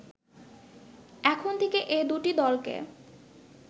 এখন থেকে এ দুটি দলকে